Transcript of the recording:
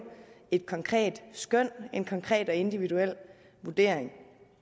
et konkret skøn en konkret og individuel vurdering